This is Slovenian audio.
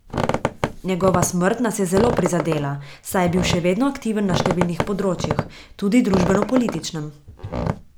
Njegova smrt nas je zelo prizadela, saj je bil še vedno aktiven na številnih področjih, tudi družbenopolitičnem.